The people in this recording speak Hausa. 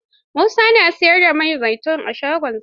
Musa na siyar da man zaitun a shagonsa?